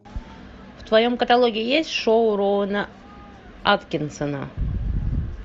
в твоем каталоге есть шоу роуэна аткинсона